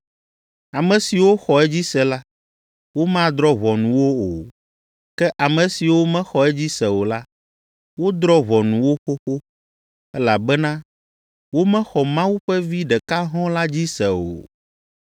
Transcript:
Ame siwo xɔ edzi se la, womadrɔ̃ ʋɔnu wo o, ke ame siwo mexɔ edzi se o la, wodrɔ̃ ʋɔnu wo xoxo, elabena womexɔ Mawu ƒe Vi ɖeka hɔ̃ɔ la dzi se o.